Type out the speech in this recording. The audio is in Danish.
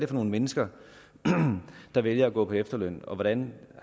for nogen mennesker der vælger at gå på efterløn og hvordan